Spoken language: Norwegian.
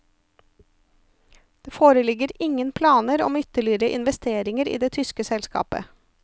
Det foreligger ingen planer om ytterligere investeringer i det tyske selskapet.